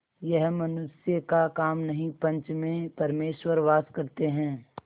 यह मनुष्य का काम नहीं पंच में परमेश्वर वास करते हैं